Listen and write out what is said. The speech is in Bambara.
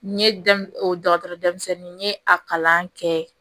N ye da o dɔgɔtɔrɔ denmisɛnnin n ye a kalan kɛ